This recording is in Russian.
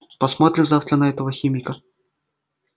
посмотрим завтра на этого химика